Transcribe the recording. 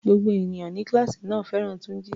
Gbogbo ènìyàn ní kíláàsì náà fẹ́ràn Túnjí.